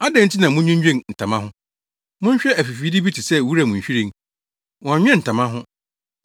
“Adɛn nti na mudwinnwen ntama ho? Monhwɛ afifide bi sɛ wuram nhwiren, wɔnnwene ntama ho.